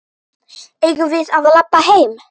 Eigum við að labba heim?